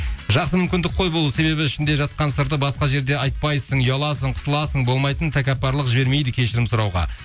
жақсы мүмкіндік қой бұл себебі ішінде жатқан сырды басқа жерде айтпайсың ұяласың қысыласың болмайтын тәкаппарлық жібермейді кешірім сұрауға